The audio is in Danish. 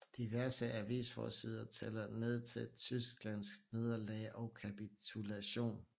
Diverse avisforsider tæller ned til Tysklands nederlag og kapitulation